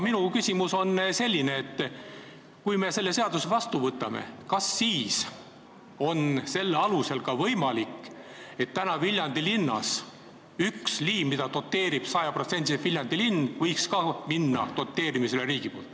Minu küsimus on aga selline: kui me selle seaduse vastu võtame, siis kas selle alusel on võimalik, et Viljandis üks liin, mida praegu doteerib sajaprotsendiliselt Viljandi linn, võiks ka minna riigi doteerimisele?